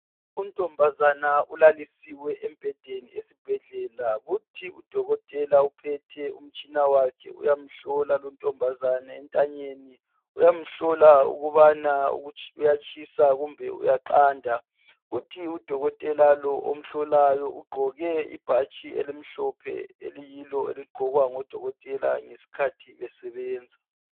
Untombazana ulalisiwe embhedeni esibhedlela kuthi udokotela uphethe umtshina wakhe uyamhlola luntombazana entanyeni. Uyamhlola ukuba kuyatshisa kumbe uyaqanda .Uthi uDokotela lo omhlolayo ugqoke ibhatshi elimhlophe eliyilo eligqokwa ngo Dokotela isikhathi besebenza.